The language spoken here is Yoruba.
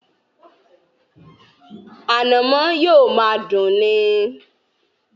Ànàmọ́ yóò máa dùn ni.